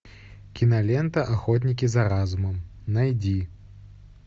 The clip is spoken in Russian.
кинолента охотники за разумом найди